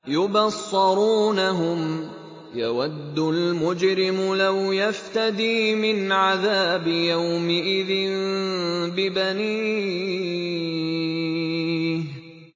يُبَصَّرُونَهُمْ ۚ يَوَدُّ الْمُجْرِمُ لَوْ يَفْتَدِي مِنْ عَذَابِ يَوْمِئِذٍ بِبَنِيهِ